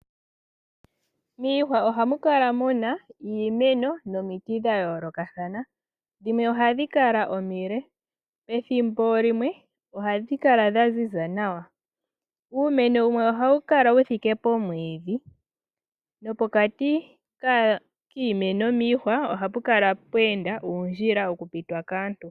Miihwa ohamu kala mu na iimeno nomiti dha yoolokathana. Dhimwe ohadhi kala omile. Pethimbo limwe ohadhi kala dha ziza nawa. Uumeno wumwe ohawu kala wu thike pomwiidhi nopokati kiimeno miihwa ohapu kala pwe enda uundjila wokupitwa kaantu.